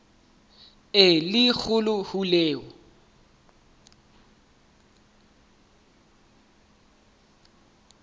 e le kgolo ho eo